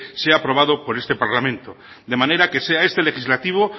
sea aprobado por este parlamento de manera que sea este legislativo